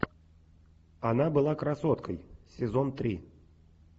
она была красоткой сезон три